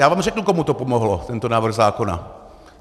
Já vám řeknu, komu to pomohlo, tento návrh zákona.